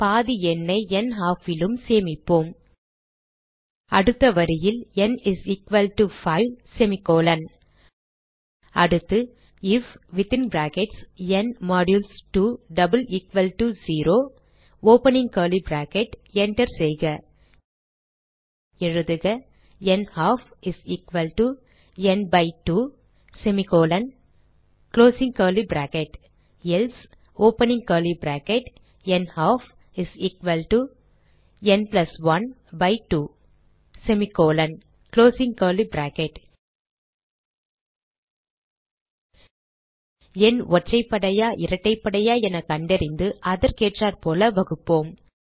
பாதி எண்ணை nHalf லும் சேமிப்போம் அடுத்த வரியில் ந் 5 அடுத்து ஐஎஃப் ந் 2 0 enter செய்க எழுதுக நல்ஃப் ந் 2 எல்சே நல்ஃப் ந் 1 2 எண் ஒற்றைப்படையா இரட்டைப்படையா என கண்டறிந்து அதற்கேற்றாற்போல வகுப்போம்